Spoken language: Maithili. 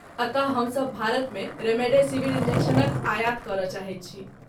अतः, हमसभ भारतमे रेमडेसिवीर इन्जेक्शनक आयात करय चाहैत छी।